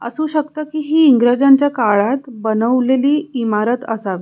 असू शकत की ही इंग्रजांच्या काळात बनवलेली इमारत असा.